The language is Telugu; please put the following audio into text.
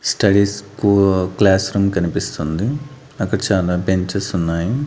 స్టడీస్ కు క్లాస్ రూమ్ కనిపిస్తుంది అక్కడ చాలా బెంచెస్ ఉన్నాయి.